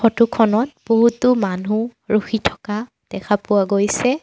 Photo খনত বহুতো মানুহ ৰখি থকা দেখা পোৱা গৈছে।